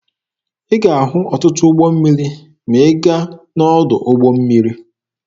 Ị ga-ahụ ọtụtụ ụgbọ mmiri ma ị gaa n'ọdụ ụgbọ mmiri.